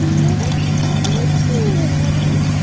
повар спрашивает повара